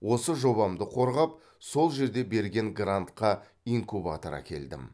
осы жобамды қорғап сол жерде берген грантқа инкубатор әкелдім